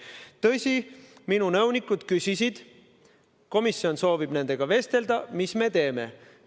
Tõsi, minu nõunikud küsisid, et komisjon soovib nendega vestelda, mis me teeme.